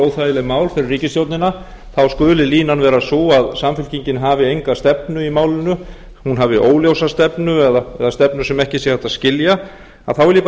óþægileg mál fyrir ríkisstjórnina þá skuli línan vera sú að samfylkingin hafi enga stefnu í málinu hún hafi óljósa stefnu eða stefnu sem ekki sé hægt að skilja þá vil ég bara